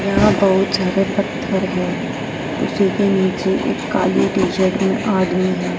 यहाँ बहुत सारे पत्थर हैं। उसी के नीचे एक काली टीशर्ट में आदमी है।